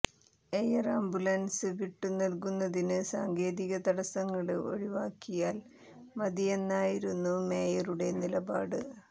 air ambulance വിട്ടു നല്കുന്നതിന് സാങ്കേതിക തടസങ്ങള് ഒഴിവാക്കിയാൽ മതിയെന്നായിരുന്നു മേയറുടെ നിലപാട്